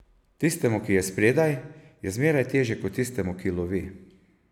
Tistemu, ki je spredaj, je zmeraj težje kot tistemu, ki lovi.